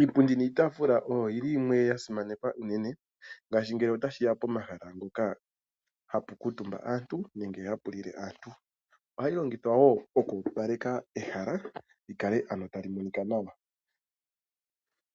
Iipundi niitaafula oyo yi li yimwe ya simanekwa unene. Ngaashi ngele otashi ya pomahala ngono hapu kuutumba aantu, nenge hapu lile aantu. Ohayi longithwa wo oku opaleka ehala, li kale tali monika nawa.